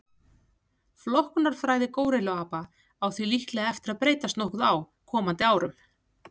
Flokkunarfræði górilluapa á því líklega eftir að breytast nokkuð á komandi árum.